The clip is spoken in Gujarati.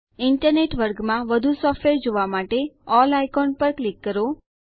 ઈન્ટરનેટ વર્ગમાં વધુ સોફ્ટવેર જોવા માટે અલ્લ આઇકોન પર ક્લિક કરો